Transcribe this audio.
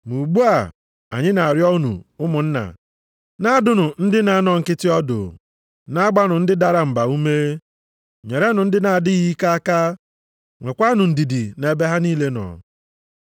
Ma ugbu a, anyị na-arịọ unu, ụmụnna, na-adụnụ ndị na-anọ nkịtị ọdụ, na-agbanụ ndị dara mba ume, nyerenụ ndị na-adịghị ike aka, nwekwanụ ndidi nʼebe ha niile nọ.